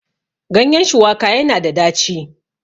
ganyen shuwaka yana da daci